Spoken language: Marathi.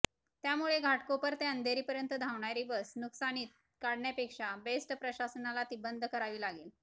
त्यामुळे घाटकोपर ते अंधेरीपर्यंत धावणारी बस नुकसानीत काढण्यापेक्षा बेस्ट प्रशासनाला ती बंद करावी लागेल